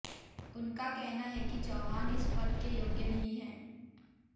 उनका कहना है कि चौहान इस पद के योग्य नहीं हैं